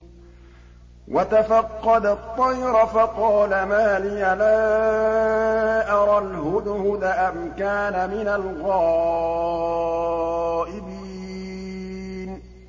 وَتَفَقَّدَ الطَّيْرَ فَقَالَ مَا لِيَ لَا أَرَى الْهُدْهُدَ أَمْ كَانَ مِنَ الْغَائِبِينَ